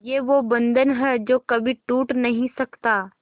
ये वो बंधन है जो कभी टूट नही सकता